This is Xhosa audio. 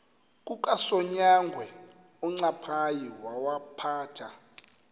kukasonyangwe uncaphayi wawaphatha